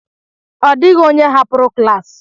Ọ dịghị onye hapụrụ klas.